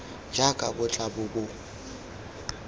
jaaka bo tla bo bo